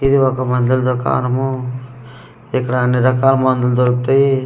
ఇది ఒక మందుల దుకానమూ ఇక్కడ అన్ని రకాల మందులు దొరుకుతాయ్.